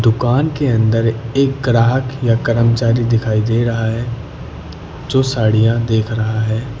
दुकान के अंदर एक ग्राहक या कर्मचारी दिखाई दे रहा है जो साड़ियां देख रहा है।